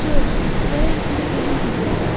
Corc, gərək itimi özüm güllələyərdim.